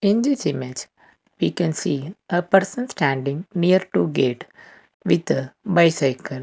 in this image we can see a person standing near to gate with a bicycle.